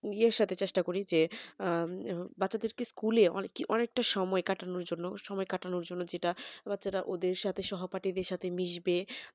নিজের সাথে চেষ্টা করি যে বাচ্চাদেরকে school অনেকি অনেকটা সময় কাটানোর জন্য সময় কাটানোর জন্য যেটা বাচারা ওদের সাথে সহপাঠীদের সাথে মিশবে